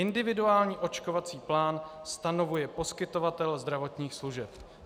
Individuální očkovací plán stanovuje poskytovatel zdravotních služeb."